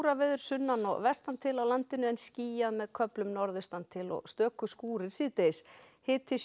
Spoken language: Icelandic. skúraveður sunnan og vestan til á landinu en skýjað með köflum norðaustan til og stöku skúrir síðdegis hiti sjö